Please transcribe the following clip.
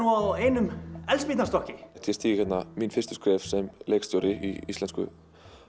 á einum eldspýtustokki ég stíg hérna mín fyrstu skref sem leikstjóri í íslensku